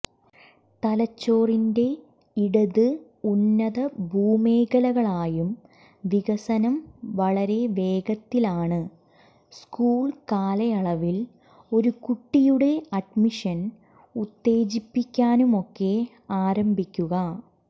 തലച്ചോറിന്റെ ഇടത് ഉന്നതഭൂമേഖലകളായും വികസനം വളരെ വേഗത്തിലാണ് സ്കൂൾ കാലയളവിൽ ഒരു കുട്ടിയുടെ അഡ്മിഷൻ ഉത്തേജിപ്പിക്കാനുമൊക്കെ ആരംഭിക്കുക